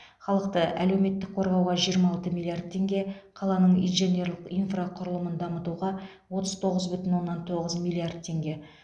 халықты әлеуметтік қорғауға жиырма алты миллиард теңге қаланың инженерлік инфрақұрылымын дамытуға отыз тоғыз бүтін онннан тоғыз миллиард теңге